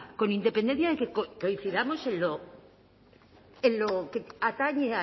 con independencia de que coincidamos en lo que atañe